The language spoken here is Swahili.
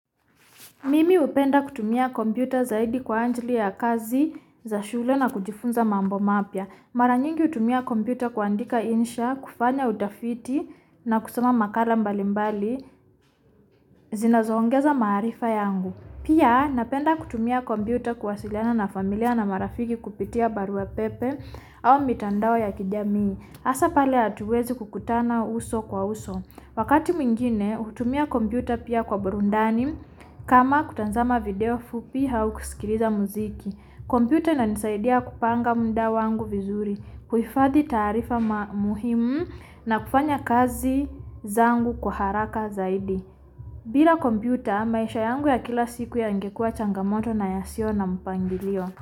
Mimi hupenda kutumia kompyuta zaidi kuwa ajili ya kazi za shule na kujifunza mambo mapya Mara nyingi hutumia kompyuta kuandika insha, kufanya utafiti na kusoma makala mbalimbali. Zinazoongeza maarifa yangu. Pia napenda kutumia kompyuta kuwasiliana na familia na marafiki kupitia barua pepe au mitandao ya kijamii. Hasa pale hatuwezi kukutana uso kwa uso. Wakati mwingine hutumia kompyuta pia kwa burudani kama kutazama video fupi au kuskiliza muziki. Kompyuta inanisaidia kupanga muda wangu vizuri. Kuhifadhi taarifa muhimu na kufanya kazi zangu kwa haraka zaidi. Bila kompyuta, maisha yangu ya kila siku yangekuwa changamoto na yasio na mpangilio.